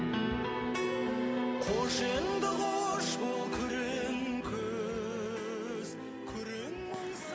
қош енді қош бол күрең күз күрең мұң